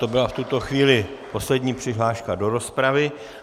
To byla v tuto chvíli poslední přihláška do rozpravy.